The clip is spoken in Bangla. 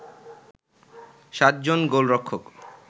৭ জন গোলরক্ষক